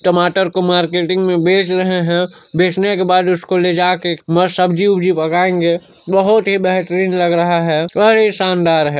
--टमाटर को मार्केटिंग में बेच रहे है बेचने के बाद उसको लेजा के सब्जी-वब्जी पकाएंगे बहोत ही बेहतरीन लग रहा है और ये शानदार है।